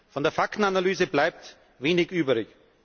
Von der Faktenanalyse bleibt wenig übrig.